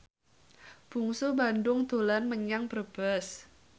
Bungsu Bandung dolan menyang Brebes